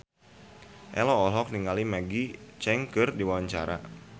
Ello olohok ningali Maggie Cheung keur diwawancara